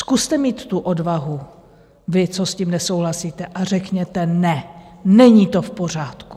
Zkuste mít tu odvahu, vy, co s tím nesouhlasíte, a řekněte ne, není to v pořádku!